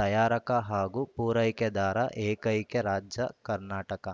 ತಯಾರಕ ಹಾಗೂ ಪೂರೈಕೆದಾರ ಏಕೈಕ ರಾಜ್ಯ ಕರ್ನಾಟಕ